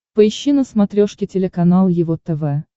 поищи на смотрешке телеканал его тв